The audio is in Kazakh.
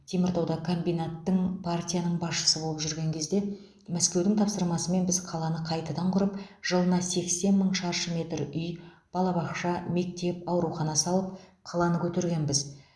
теміртауда комбинаттың партияның басшысы болып жүрген кезде мәскеудің тапсырмасымен біз қаланы қайтадан құрып жылына сексен мың шаршы метр үй балабақша мектеп аурухана салып қаланы көтергенбіз